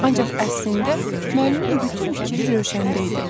Ancaq əslində müəllimin bütün fikri Rövşəndə idi.